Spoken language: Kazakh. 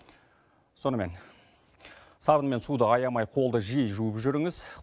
сонымен сабын мен суды аямай қолды жиі жуып жүріңіз